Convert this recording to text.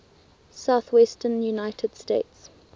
southwestern united states